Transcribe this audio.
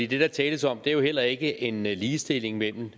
det der tales om er jo heller ikke en ligestilling mellem